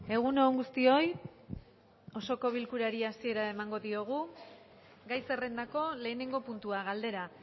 egun on guztioi osoko bilkurari hasiera emango diogu gai zerrendako lehenengo puntua galdera